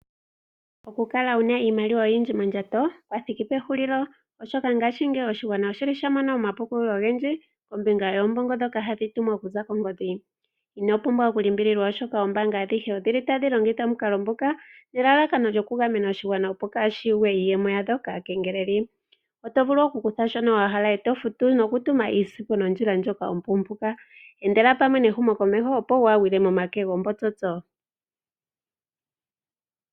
Okukala wuna iimaliwa oyindji mondjato kwa thiki pehulilo. Oshoka ngaashi ngeyi oshigwana oshili sha mona omapukululo ogendji kombinga yombongo dhoka hashi tumwa okuza kongodhi. Ino pumbwa okulimbililwa ,oshoka oombanga adhihe odhili tadhi longotha omukalo nguka ,nelalakano lyo kugamena oshigwana opo kaashi yugwe iiyemo yadho kaakengeleli. Oto vulu okukutha shono wa hala eto futu nookutuma nesiku nondjila ndjoka ompumpuka. Endela pamwe nehumo komeho opo wa gwiile momake yombotsotso.